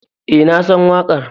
Eh nasan wakar.